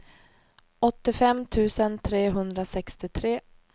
åttiofem tusen trehundrasextiotre